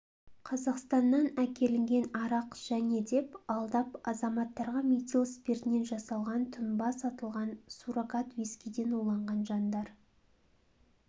қазақстаннан әкелінген арақ және деп алдап азаматтарға метил спиртінен жасалған тұнба сатылған суррогат вискиден уланған жандар